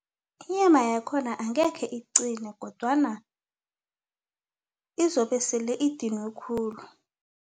Inyama yakhona angekhe iqine kodwana izobe sele idinwe khulu.